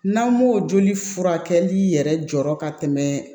N'an m'o joli furakɛli yɛrɛ jɔ ka tɛmɛ